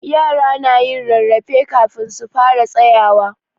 Yara na yin rarrafe kafin su fara tsayawa.